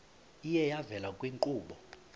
iye yavela kwiinkqubo